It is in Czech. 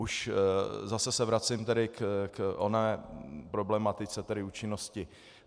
Už zase se vracím tedy k oné problematice, tedy účinnosti.